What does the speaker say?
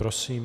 Prosím.